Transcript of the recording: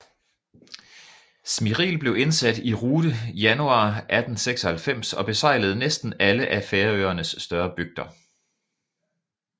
Smiril blev indsat i rute januar 1896 og besejlede næsten alle af Færøernes større bygder